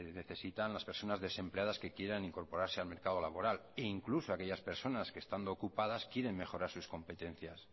necesitan las personas desempleadas que quieran incorporarse al mercado laboral e incluso aquellas personas que estando ocupadas quieren mejorar sus competencias